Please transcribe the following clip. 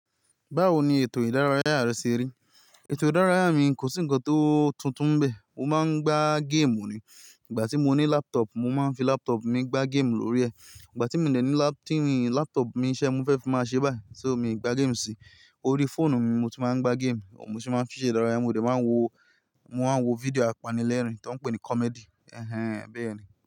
Báwo ni ètò ìdárayá rẹ ṣe rí? Ètò ìdárayá mi kò sí ǹkan tó tuntun bẹ. Mo máa ń gbá game ni. Ìgbà tí mo ní laptop, mo máa ń fi laptop mi gbá game lórí ẹ̀. Ìgbà tí mo dẹ̀ ní la-- tí laptop mi, ise mo fẹ́ fi máa ṣe báyìí, tí ò mi gbá game sí. Orí fóònù mi mo ti máa ń gbá game, mo sì máa ń fi ṣe ìdárayá. Mo de máa ń wo, mo máa ń wo fídíò apanilẹ́rìn tí wọ́n ń pè ní comedy. Ẹ̀hẹn, bẹ́ẹ̀ ni.